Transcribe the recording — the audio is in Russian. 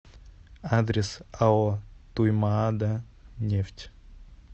адрес ао туймаада нефть